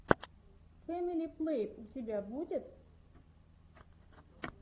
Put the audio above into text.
фэмили плейлэб у тебя будет